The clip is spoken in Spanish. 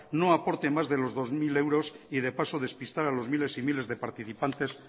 no aporte más de los dos mil euros y de paso despistar a los miles y miles de participantes